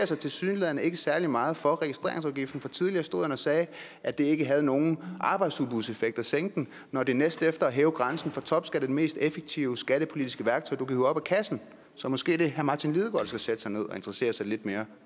sig tilsyneladende ikke særlig meget for registreringsafgiften for tidligere stod han og sagde at det ikke havde nogen arbejdsudbudseffekt at sænke den når det næstefter at hæve grænsen for topskat er det mest effektive skattepolitiske værktøj hive op af kassen så måske er det herre martin lidegaard der skal sætte sig ned og interessere sig lidt mere